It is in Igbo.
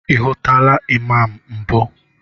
Ị hụtụla Imam mbụ?